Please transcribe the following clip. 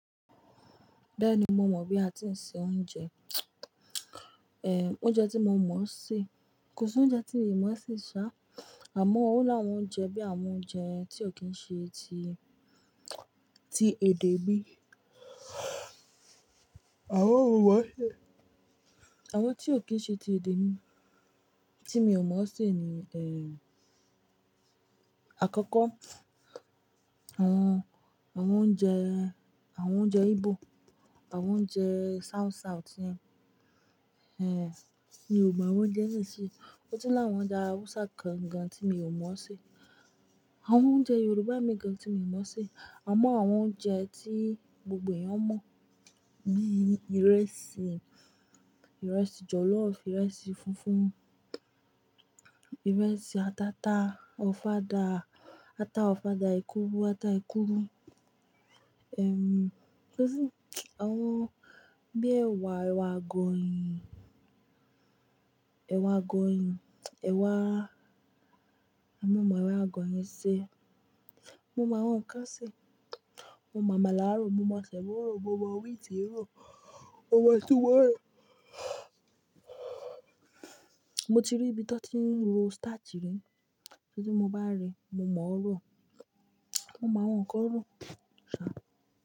Bẹ́ẹ̀ni, mo mọ̀ bí a ti ń sè oúnjẹ. Ehn, oúnjẹ tí mo mọ̀ ń sè. Kò sóúnjẹ tí mìí mo ń sè ṣá, àmọ́ ó láwọn oúnjẹ bíi àwọn oúnjẹ tí ò kí n ṣe ti, ti èdè mi. Àmọ́ mo mo ń ṣe, àwọn tí ò kí n ṣe ti èdè mi. Tí mi ò mọ̀ ó ń sè ni, ehn, àkọ́kọ́ àwọn, àwọn oúnjẹ, àwọn oúnjẹ Igbo, àwọn oúnjẹ South South yẹn. Ehn, mi ò màwọn oúnjẹ náà ń ṣe. Ó tún láwọn oúnjẹ Hausa kan gan tí mi ò mọ̀ ó sè. Àwọn oúnjẹ Yorùbá mìí gan tí mi ì mọ̀ ó sè. Àmọ́ àwọn oúnjẹ tí gbogbo èèyàn mọ̀ bí i ìrẹsì, ìrẹsì jọ̀lọ́ọ̀fù, ìrẹsì funfun, ìrẹsì atata, ọ̀fadà ata, ọ̀fadà ẹ̀kúrú, ata ẹ̀kúrú. Ehmn, kò sí, àwọn bí ẹ̀wà, ẹ̀wà àgọ̀yìn, ẹ̀wà àgọ̀yìn, ẹ̀wà, àmọ́ mo mọ̀ ẹ̀wà àgọ̀yìn ṣe. Mo mọ àwọn ǹkan ń ṣe. Mo màmàlà rọ̀, mo mọ sẹ̀mọ́ rọ̀, mo mọ wheat rọ̀, mo mọ tùwó rò. Mo ti rí ibi tí wọ́n ti ń ro starch rí. Tí mo bá rí, mo mọ̀ ó rọ̀. Mo mọ àwọn ǹkan rọ̀, ṣá.